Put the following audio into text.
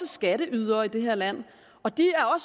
skatteydere i det her land og de